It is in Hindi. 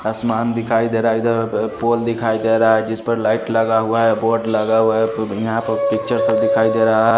आसमान दिखाई दे रहा है इधर पोल दिखाई दे रहा है जिस पर लाइट लगा हुआ है बोर्ड लगा हुआ है यहां पर पिक्चर से दिखाई दे रहा है।